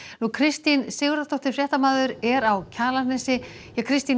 Kristín Sigurðardóttir fréttamaður er á Kjalarnesi Kristín